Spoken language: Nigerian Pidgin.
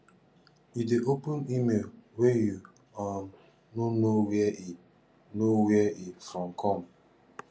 you dey open email wey you um no know where e know where e from come